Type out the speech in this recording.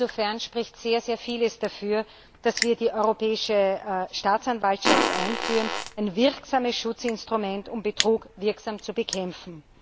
Insofern spricht sehr, sehr vieles dafür, dass wir die Europäische Staatsanwaltschaft einführen, ein wirksames Schutzinstrument, um Betrug wirksam zu bekämpfen.